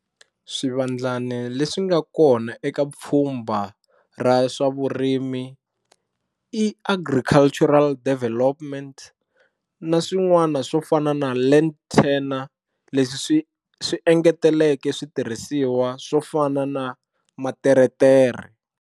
Swivandlane leswi nga kona eka pfhumba ra swa vurimi i Agricultural development na swin'wana swo fana na Land Turner leswi swi swi engetelekeke switirhisiwa swo fana na materetere.